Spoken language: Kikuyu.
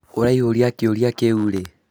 ũraihũria kĩũria kĩĩu rĩĩ?